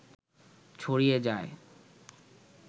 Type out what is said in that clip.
ছড়িয়ে যায়